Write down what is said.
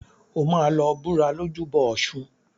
O máa lọ búra lójúbọ ọ̀ṣun.